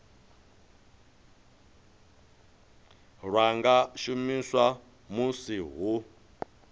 lwa nga shumiswa musi hu